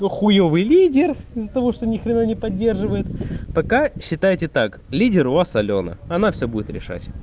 хуёвый лидер из-за того что ни хрена не поддерживает пока считайте так лидер у вас алёна она всё будет решать